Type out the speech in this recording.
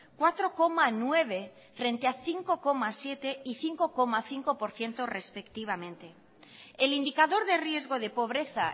cuatro coma nueve frente a cinco coma siete y cinco coma cinco por ciento respectivamente el indicador de riesgo de pobreza